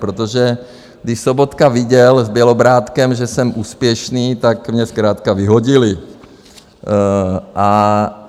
Protože když Sobotka viděl s Bělobrádkem, že jsem úspěšný, tak mě zkrátka vyhodili.